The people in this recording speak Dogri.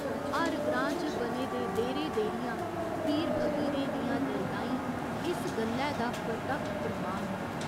हर ग्रांऽ च बने दे देह्‌रे देह्‌रियां, पीर फकीरें दियां दरगाहीं इस गल्लै दा परतक्ख प्रमाण न।